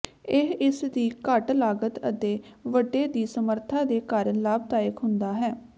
ਇਹ ਇਸ ਦੀ ਘੱਟ ਲਾਗਤ ਅਤੇ ਵੱਡੇ ਦੀ ਸਮਰੱਥਾ ਦੇ ਕਾਰਨ ਲਾਭਦਾਇਕ ਹੁੰਦਾ ਹੈ